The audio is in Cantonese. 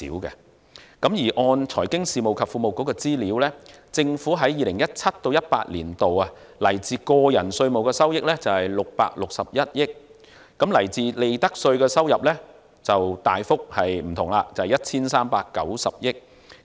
根據財經事務及庫務局的資料，政府在 2017-2018 年度來自個人稅務的收益為661億元，來自利得稅的收入則顯著不同，為 1,390 億元。